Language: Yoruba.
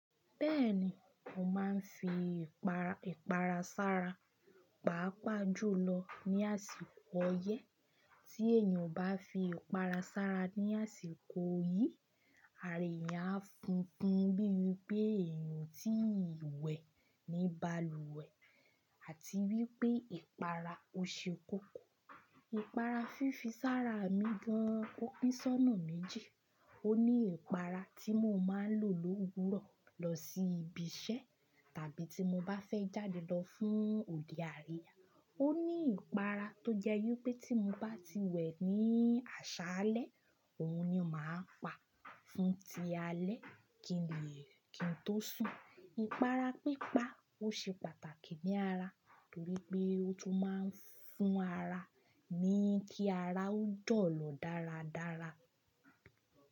Bẹ́ẹ̀ni, mo máa ń fi ìpara sára, pàápàá jùlọ ní àsìkò oyẹ́. Tí èèyàn bá fi ọ̀para sára ní àsìkò yìí, àra èyàn á funfun bí i pé èèyàn ti wẹ̀ ní balùwẹ̀ àti wípé ìpara ò ṣe kókó. Ìpara fífi sára mi gan-an ó pín sónà méjì. Ó ní ìpara tí mo máa ń lò lówurọ̀ lọ sí ibi iṣẹ́ tàbí tí mo bá fẹ́ jáde lọ fún òde àríyá. Ó ní ìpara tó jẹ́ wipé tí mo bá ti wẹ̀ ní aṣálẹ́, òun ni mo máa ń pa fún ti aalẹ́ kí n tó sùn. Ìpara pípa ò ṣe pàtàkì ní ara torí pé ó tún máa ń fún ara ní kí ara ó jọ̀lọ̀ dáradára.